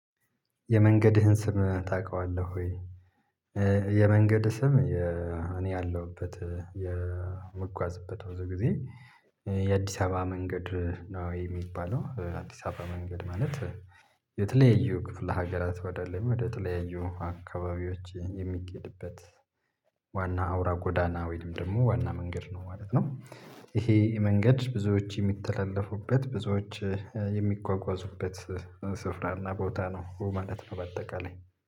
የመንገድህን ስም ታውቃለህ ወይ? የመንገድ ስም እኔ ያለሁበት የምጓዝበት ብዙ ጊዜ የአዲስ አበባ መንገድ ነው የሚባለው አዲስ አበባ መንገድ ማለት። የተለያዩ ክፍለ ሀገራት ወደ ላይ ወደ ተለያዩ አካባቢዎች የሚኬድበት። ዋና አውራ ጎዳና ወይም ደግሞ ዋና መንገድ ነው ማለት ነው። ይሄ መንገድ ብዙዎች የሚተላለፉበት ብዙዎች የሚጓጓዙበት። ስፍራና ቦታ ነው ማለት ነው። በአጠቃላይ